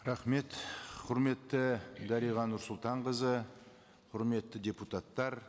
рахмет құрметті дариға нұрсұлтанқызы құрметті депутаттар